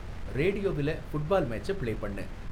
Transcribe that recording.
ரேடியோவில football மேட்ச்ச play பண்ணு